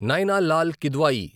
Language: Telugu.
నైనా లాల్ కిద్వాయి